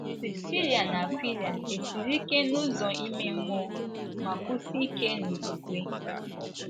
Prisila na Akwịla esiri ike n’ụzọ ime mmụọ ma kwụsie ike n’okwukwe?